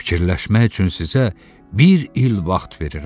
Fikirləşmək üçün sizə bir il vaxt verirəm.